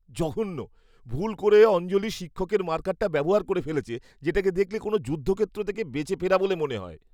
জঘন্য! ভুল করে অঞ্জলি শিক্ষকের মার্কারটা ব্যবহার করে ফেলেছে, যেটাকে দেখলে কোনও যুদ্ধক্ষেত্র থেকে বেঁচে ফেরা বলে মনে হয়।